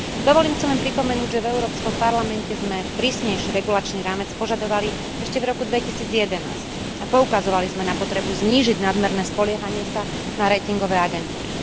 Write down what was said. Dovolím si len pripomenúť, že v Európskom parlamente sme prísnejší regulačný rámec požadovali ešte v roku 2011 a poukazovali sme na potrebu znížiť nadmerné spoliehanie sa na ratingové agentúry.